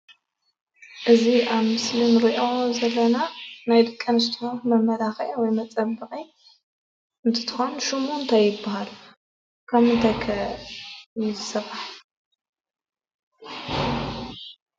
እዚ ኣብ ምስሊ እንርእዮ ዘለና ናይ ደቂ ኣንስትዮ መመላኪዒ ወይከዓ መፀበቂ እንትኮን ሽሙ እንታይ ይባሃል ካብ ምንታይ ከ ይስራሕ?